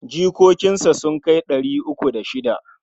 Jikokinsa sun kai ɗari uku da shida.